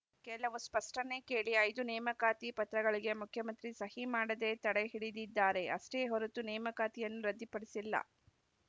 ಕೆಲವು ಸ್ಪಷ್ಟನೆ ಕೇಳಿ ಐದು ನೇಮಕಾತಿ ಪತ್ರಗಳಿಗೆ ಮುಖ್ಯಮಂತ್ರಿ ಸಹಿ ಮಾಡದೆ ತಡೆ ಹಿಡಿದಿದ್ದಾರೆ ಅಷ್ಟೇ ಹೊರತು ನೇಮಕಾತಿಯನ್ನು ರದ್ದುಪಡಿಸಿಲ್ಲ